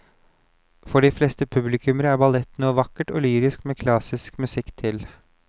For de fleste publikummere er ballett noe vakkert og lyrisk med klassisk musikk til.